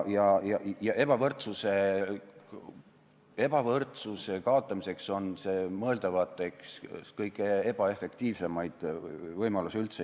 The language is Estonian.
Ebavõrdsuse kaotamiseks on see mõeldavatest üks kõige ebaefektiivsemaid võimalusi.